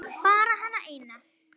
Bara hana eina.